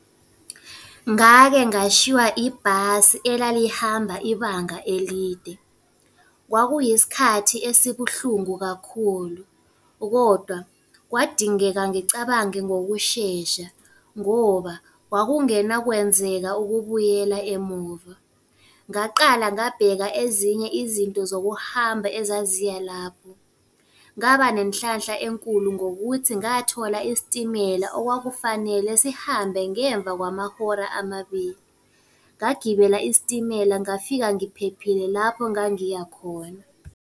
Ngake ngashiywa ibhasi elalihamba ibanga elide. Kwakuyisikhathi esibuhlungu kakhulu, kodwa kwadingeka ngicabange ngokushesha, ngoba kwakungena kwenzeka ukubuyela emuva. Ngaqala ngabheka ezinye izinto zokuhamba ezaziya lapho, ngaba nenhlanhla enkulu ngokuthi ngathola isitimela okwakufanele sihambe ngemva kwamahora amabili. Ngagibela isitimela ngafika ngiphephile lapho ngangiya khona.